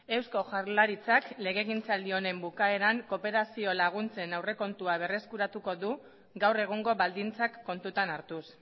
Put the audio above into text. eusko jaurlaritzak legegintzaldi honen bukaeran kooperazio laguntzen aurrekontua berreskuratuko du gaur egungo baldintzak kontutan hartuz